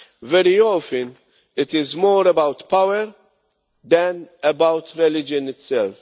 Very often, it is more about power than about religion itself.